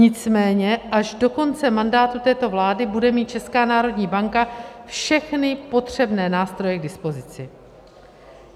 Nicméně až do konce mandátu této vlády bude mít Česká národní banka všechny potřebné nástroje k dispozici.